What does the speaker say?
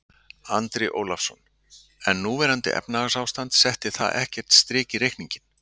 Andri Ólafsson: En núverandi efnahagsástand, setti það ekkert strik í reikninginn?